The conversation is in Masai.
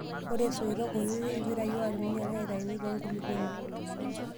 Ore soitok kutiti, irpirai oo alminium neitayuni tenkulupuoni.